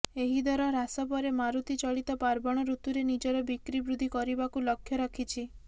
ଏହି ଦର ହ୍ରାସ ପରେ ମାରୁତି ଚଳିତ ପାର୍ବଣ ଋତୁରେ ନିଜର ବିକ୍ରି ବୃଦ୍ଧି କରିବାକୁ ଲକ୍ଷ୍ୟ ରଖିଛି